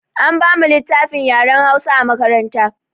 An ba mu littafin yaren Hausa a makaranta.